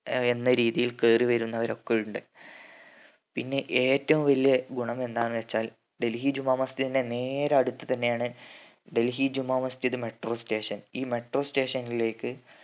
എന്ന രീതിയിൽ കേറി വരുന്നവർ ഒക്കെ ഉണ്ട്. പിന്നെ ഏറ്റവും വലിയ ഗുണം എന്താന്ന് വെച്ചാൽ ഡൽഹി ജുമാ മസ്ജിദിന്റെ നേരെ അടുത്ത് തന്നെയാണ് ഡൽഹി ജുമാമസ്ജിദ് metro station ഈ metro station ലേക്ക്